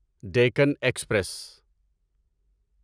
Deccan express